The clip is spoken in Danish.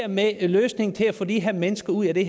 med løsningen til at få de her mennesker ud af det